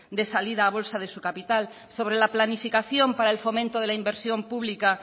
de la salida a bolsa de su capital sobre la planificación para el fomento de la inversión pública